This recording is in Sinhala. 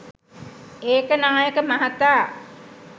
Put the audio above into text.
ඒකනායක මහතා